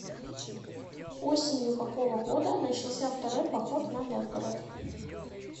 осенью какого года начался второй поход на новгород